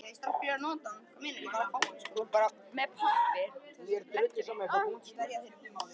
Þegar Vísir og Dagblaðið sameinuðust var það gífurlegt áfall fyrir mig.